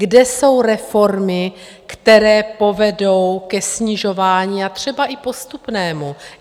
Kde jsou reformy, které povedou ke snižování, a třeba i postupnému?